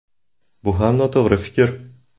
Bu ham noto‘g‘ri fikr.